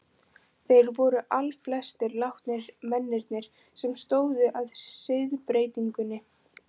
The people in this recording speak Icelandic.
Þeir voru allflestir látnir, mennirnir sem stóðu að siðbreytingunni.